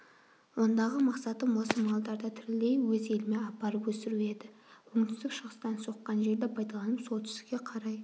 ондағы мақсатым осы малдарды тірілей өз еліме апарып өсіру еді оңтүстік-шығыстан соққан желді пайдаланып солтүстікке қарай